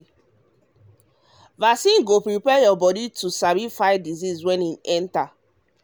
vaccine go prepare your body um to sabi um fight disease when e enter. um